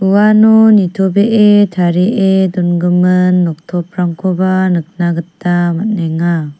uano nitobee tarie dongimin noktoprangkoba nikna gita man·enga.